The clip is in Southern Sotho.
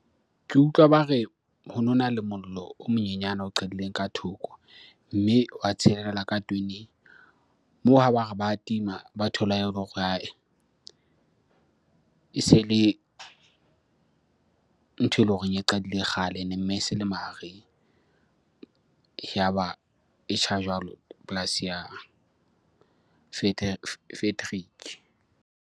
Ke utlwa ba re ho nona le mollo o monyenyana o qadileng ka thoko. Mme wa tshelela ka . Moo ha ba re ba tima, ba thola ele hore e se le ntho eleng hore e qadile kgale mme e se le mahareng. Yaba e tjha jwalo polasi ya Frederick.